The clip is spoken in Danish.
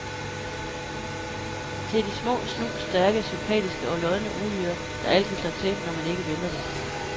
Det er de små, snu, stærke, sympatiske og lodne uhyrer, der altid slår til, når man ikke venter det.